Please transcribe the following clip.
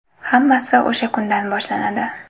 Hammasi o‘sha kundan boshlanadi.